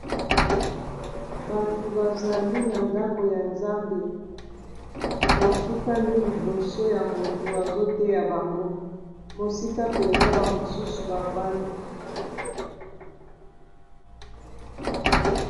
Bato bazali na ndako ya zambe, bafukami liboso ya moto azoteya bango mosika mpenza ba mosusu bafandi.